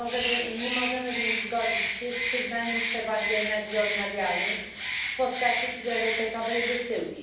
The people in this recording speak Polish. Nie możemy więc zgodzić się z przyznaniem przewagi energii odnawialnej w postaci priorytetowej wysyłki.